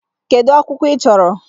Kedu akwụkwọ ị chọrọ?